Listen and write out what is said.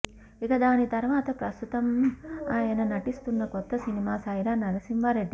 ఇక దాని తరువాత ప్రస్తుతం అయన నటిస్తున్న కొత్త సినిమా సైరా నరసింహారెడ్డి